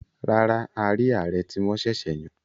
Rárá, a rí ààrẹ tí wọ́n sẹ̀sẹ̀ yàn.